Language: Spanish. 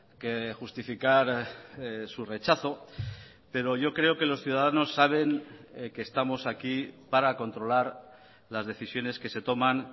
que justificar su rechazo pero yo creo que los ciudadanos saben que estamos aquí para controlar las decisiones que se toman